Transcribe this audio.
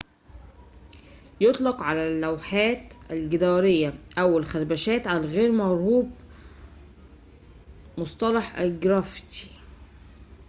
يطلق على اللوحات الجدارية أو الخربشات غير المرغوبة مصطلح الجرافيتي